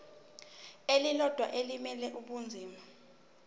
elilodwa elimele ibinzana